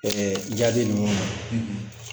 jaabi ninnu ye